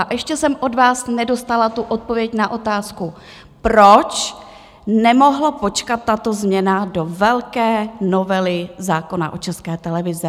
A ještě jsem od vás nedostala tu odpověď na otázku, proč nemohla počkat tato změna do velké novely zákona o České televizi?